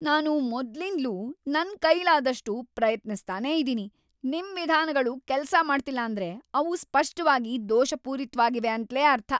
ನಾನು ಮೊದ್ಲಿಂದ್ಲೂ ನನ್ ಕೈಲಾದಷ್ಟು ಪ್ರಯತ್ನಿಸ್ತಾನೇ ಇದೀನಿ, ನಿಮ್ ವಿಧಾನಗಳು ಕೆಲ್ಸ ಮಾಡ್ತಿಲ್ಲ ಅಂದ್ರೆ ಅವು ಸ್ಪಷ್ಟವಾಗಿ ದೋಷಪೂರಿತ್ವಾಗಿವೆ ಅಂತ್ಲೇ ಅರ್ಥ.